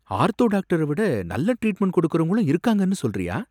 Ortho டாக்டர விட நல்லா ட்ரீட்மெண்ட் கொடுக்கறவங்களும் இருக்காங்கன்னு சொல்றியா?